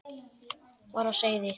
var á seyði.